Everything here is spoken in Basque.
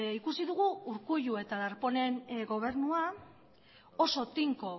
ikusi dugu urkullu eta darponen gobernua oso tinko